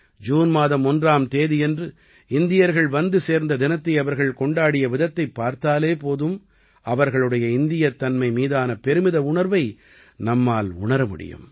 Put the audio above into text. June மாதம் 1ஆம் தேதியன்று இந்தியர்கள் வந்து சேர்ந்த தினத்தை அவர்கள் கொண்டாடிய விதத்தைப் பார்த்தாலே போதும் அவர்களுடைய இந்தியத்தன்மை மீதான பெருமித உணர்வை நம்மால் உணர முடியும்